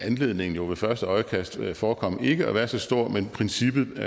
anledningen jo ved første øjekast kan forekomme ikke at være så stor men princippet